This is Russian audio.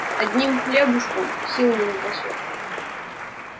одним хлебушком сил не напасёшь